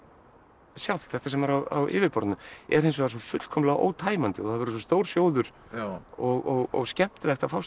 sjálft þetta sem er á yfirborðinu er hins vegar svo fullkomlega ótæmandi og það verður svo stór sjóður og skemmtilegt að fást við